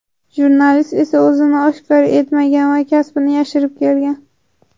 Jurnalist esa o‘zini oshkor etmagan va kasbini yashirib kelgan.